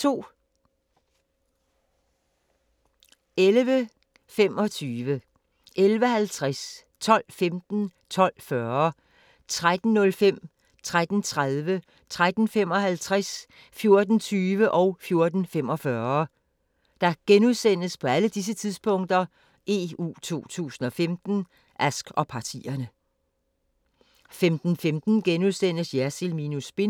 11:25: EU 2015: Ask og partierne * 11:50: EU 2015: Ask og partierne * 12:15: EU 2015: Ask og partierne * 12:40: EU 2015: Ask og partierne * 13:05: EU 2015: Ask og partierne * 13:30: EU 2015: Ask og partierne * 13:55: EU 2015: Ask og partierne * 14:20: EU 2015: Ask og partierne * 14:45: EU 2015: Ask og partierne * 15:15: Jersild minus spin *